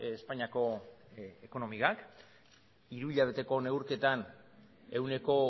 espainiako ekonomiak hiruhilabeteko neurketan ehuneko